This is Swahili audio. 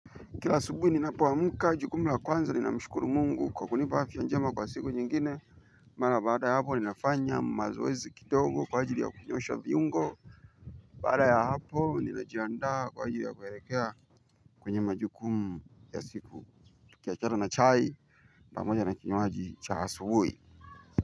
Kila asubuhi ninapoamka, jukumu la kwanza ni kumshukuru Mungu kwa kunipa afya njema kwa siku nyingine. Mara baada ya hapo, ninafanya mazoezi kidogo kwa ajili ya kunyosha viungo. Baada ya hapo ninajiandaa kwa ajili ya kuelekea kwenye majukumu ya siku, tukiachana na chai pamoja na kinywaji cha asubuhi.